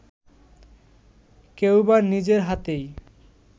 কেউবা নিজের হাতেই